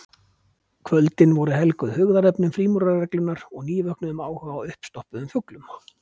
Kvöldin voru helguð hugðarefnum frímúrarareglunnar og nývöknuðum áhuga á uppstoppuðum fuglum.